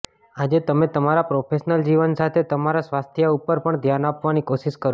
આજે તમે તમારા પ્રોફેશનલ જીવન સાથે તમારા સ્વાસ્થ્ય ઉપર પણ ધ્યાન આપવાની કોશિશ કરો